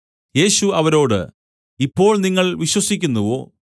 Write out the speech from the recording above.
യേശു അവരോട് ഇപ്പോൾ നിങ്ങൾ വിശ്വസിക്കുന്നുവോ